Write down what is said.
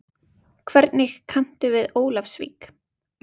Hvernig kanntu við Ólafsvík?